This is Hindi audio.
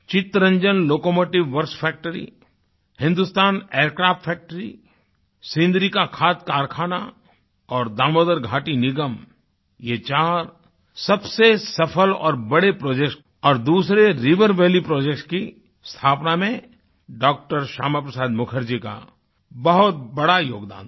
Chittaranjan locomotive works factory Hindustan aircraft factory Sindri का खाद कारखाना और दामोदर घाटी निगम ये चार सबसे सफ़ल और बड़े projectsऔर दूसरे रिवर वैली प्रोजेक्ट्स की स्थापना में डॉ० श्यामा प्रसाद मुखर्जी का बहुत बड़ा योगदान था